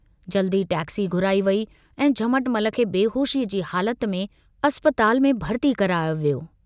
जल्दु ई टैक्सी घुराई वेई ऐं झमटमल खे बेहोशी अ जी हालत में अस्पताल में भर्ती करायो वियो।